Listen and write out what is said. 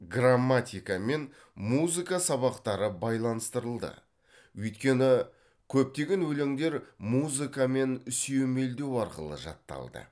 грамматика мен музыка сабақтары байланыстырылды өйткені көптеген өлеңдер музыкамен сүйемелдеу арқылы жатталды